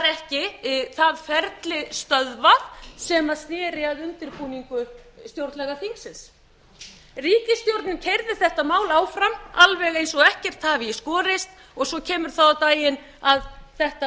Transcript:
var það ferli ekki stöðvað sem sneri að undirbúningi stjórnlagaþingsins ríkisstjórnin keyrði þetta mál áfram alveg eins og ekkert hafi í skorist og svo kemur það á daginn að þetta